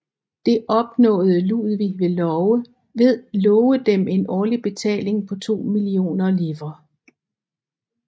Det opnåede Ludvig ved love dem en årlig betaling på to millioner livres